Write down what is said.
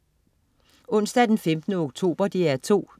Onsdag den 15. oktober - DR 2: